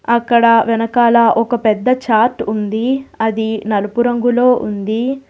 అక్కడ వెనకాల ఒక పెద్ద చార్ట్ ఉంది అది నలుపు రంగులో ఉంది.